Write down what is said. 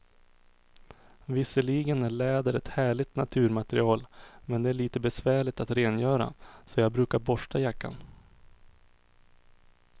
Visserligen är läder ett härligt naturmaterial, men det är lite besvärligt att rengöra, så jag brukar borsta jackan.